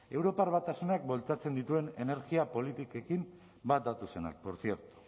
europar batasunak bultzatzen dituen energia politikekin bat datozenak por cierto